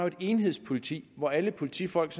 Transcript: et enhedspoliti hvor alle politifolk